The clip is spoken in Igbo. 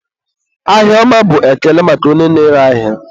ahịa ọma bụ ekele maka onye na-ere ahịa.